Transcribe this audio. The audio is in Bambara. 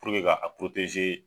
ka a